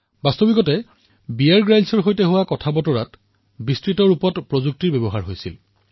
বাস্তৱিকতে বীয়েৰ গ্ৰীলছৰ সৈতে কথা কওঁতে প্ৰযুক্তিৰ ব্যাপক ব্যৱহাৰ হৈছিল